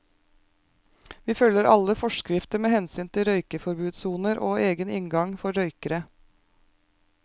Vi følger alle forskrifter med hensyn til røykeforbudssoner og egen inngang for røykere.